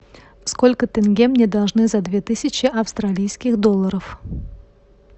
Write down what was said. сколько тенге мне должны за две тысячи австралийских долларов